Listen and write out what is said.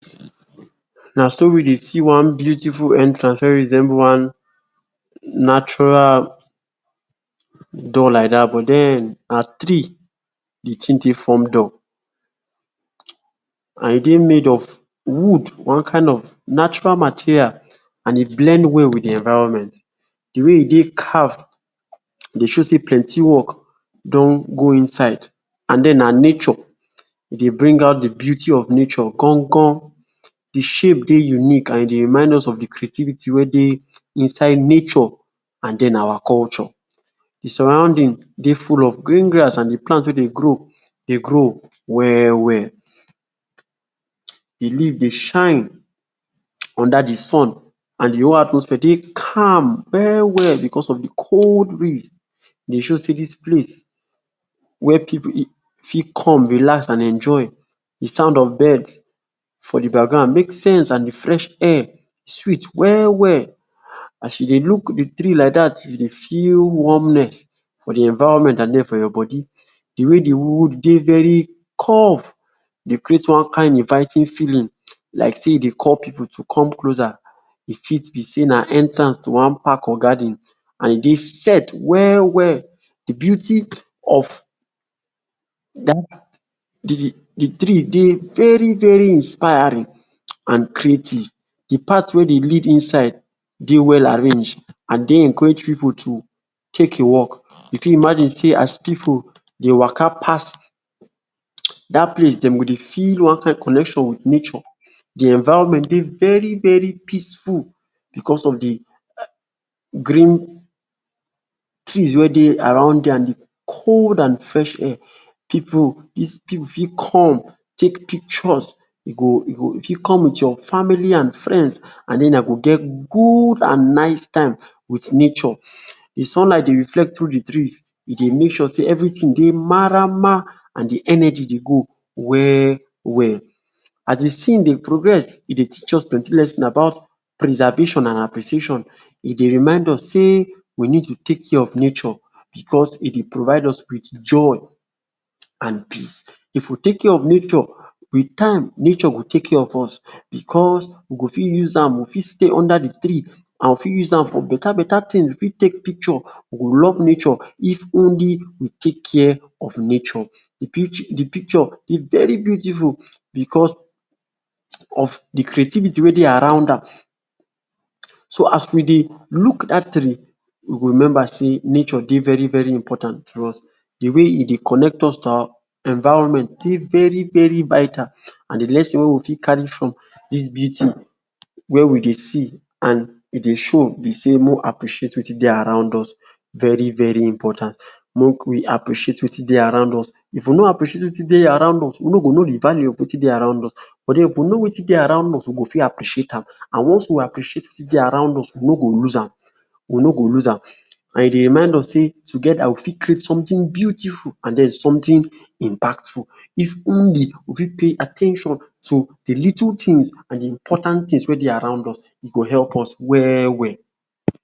Na so we dey see one beautiful entrance wey resemble one natural door like dat but then na tree de thing take form. And e dey made of wood one kind of natural material and e blend well with de environment dey way e dey carve dey show sey plenty work don go inside and then na nature de bring out de beauty of nature um de shape dey unique and e dey remind us of de creativity wey dey inside nature and then our culture de surrounding dey full of green grass and de plant wey dey grow, dey grow well well the leave dey shine under de sun and de whole atmosphere dey calm well well because of de cold breeze e dey show sey dis place where pipu fit come relax and enjoy de sound of birds for de background make sense and de fresh air sweet well well as you dey look de tree like dat you dey feel warmness for de environment and then for your body de way de wood dey very curved de create one kind inviting feeling like say e dey call pipu to come closer. E fit be say na entrance to wan park or garden and e dey set well well de beauty of de tree dey very very inspiring and creativity de path wey dey lead inside dey well arranged and dey encourage pipu to take a walk you fit imagine as pipu dey waka pass dat place dem go dey feel one kind connection de environment dey very very peaceful because of de green trees wey dey around there de cold and de fresh air pipu dis pipu fit come take pictures e go fit come with your family and friends and then una go get good and nice time with nature. Sunlight dey reflect through de trees we make sure sey everything maraman and de energy dey go well well as de thing dey progress e dey teach us plenty lessons about preservation and appreciation e dey remind us sey we need to care of nature because e dey provide us with joy and peace if we take care of nature with time nature go take care of us because we go fit use am we go fit stay under de tree we fit use am for better better thing we fit take picture you go love nature if only we take care of nature de pic de picture dey very beautiful because of de creativity wey dey around am so as we dey look dat tree we go remember sey nature dey very very important to us de way e dey connect us to our environment e dey very very vital and de lesson wey we fit carry from dis beauty wey we dey see and we dey show be sey make we appreciate wetin dey around us very very important make we appreciate wetin dey around us if nor appreciate wetin dey around us we nor go know de value of wetin dey around us but then if we know wetin dey around us we go fit appreciate am and once we appreciate wetin dey around us we nor go lose am we nor go lose am and e dey remind sey together we go fit create something beautiful and then something impactful if only we fit pay at ten tion to de little things and important things wey dey around us e go help us well well.